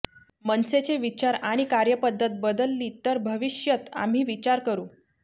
मनसेचे विचार आणि कार्यपद्धत बदलली तर भविष्यत आम्ही विचार करु